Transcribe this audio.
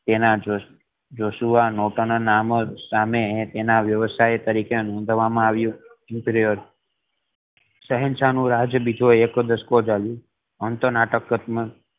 તેનાજ Joshua Norton ના નામ સામે એના વ્યવસાય તરીકે નોંધવામાં આવ્યું emperor શહેનશાહ નો રાજ બીજો એક દશકો ચાલ્યો આમ તો નાટક કે